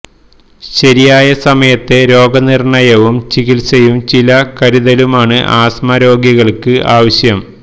ശരിയായ സമയത്തെ രോഗനിർണയവും ചികിത്സയും ചില കരുതലുമാണ് ആസ്മ രോഗികൾക്ക് ആവശ്യം